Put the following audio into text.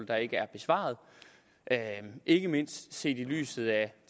der ikke er besvaret ikke mindst set i lyset af